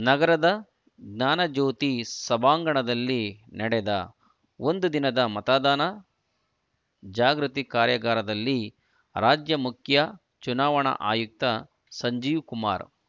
ನಗರದ ಜ್ಞಾನಜ್ಯೋತಿ ಸಭಾಂಗಣದಲ್ಲಿ ನಡೆದ ಒಂದು ದಿನದ ಮತದಾನ ಜಾಗೃತಿ ಕಾರ್ಯಾಗಾರದಲ್ಲಿ ರಾಜ್ಯ ಮುಖ್ಯ ಚುನಾವಣಾ ಆಯುಕ್ತ ಸಂಜೀವ್ ಕುಮಾರ್